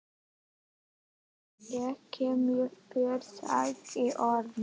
Ég kem með þér sagði Örn.